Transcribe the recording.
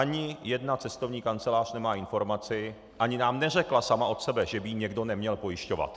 Ani jedna cestovní kancelář nemá informaci ani nám neřekla sama od sebe, že by ji někdo neměl pojišťovat.